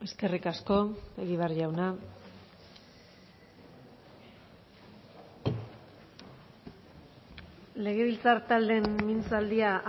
eskerrik asko egibar jauna legebiltzar taldeen mintzaldia